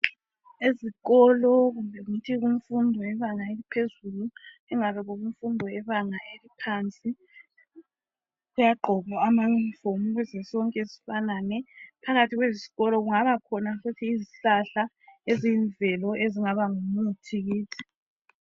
Ezikolo kumbe ngithi kumfundo yebanga eliphezulu, ingabe kukumfundo yebanga eliphansi, kuyagqokwa amauniform, ukuze sonke sifanane. Phakathi kwezikolo, kungabakhona futhi izihlahla, eziyimvelo. Ezingaba ngumuthi kithi.